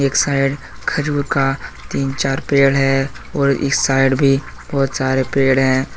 एक साइड खजूर का तीन चार पेड़ है और एक साइड भी बहोत सारे पेड़ है।